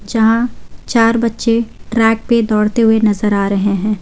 जहां चार बच्चे ट्रैक पे दौड़ते हुए नजर आ रहे हैं।